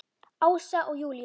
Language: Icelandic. Ása og Júlíus.